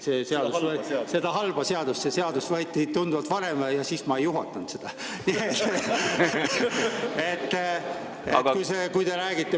See seadus võeti tunduvalt varem ja siis ma ei juhtinud seda.